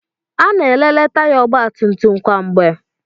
Ana-ekele taya ọgbatumtum kwa mgbe.